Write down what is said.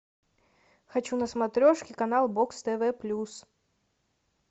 хочу на смотрешке канал бокс тв плюс